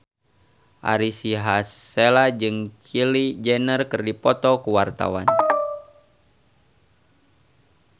Ari Sihasale jeung Kylie Jenner keur dipoto ku wartawan